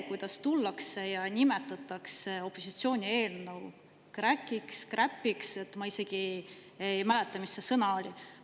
Tullakse ja nimetatakse opositsiooni eelnõu kräkiks või kräpiks – ma ei mäleta, mis see sõna oli.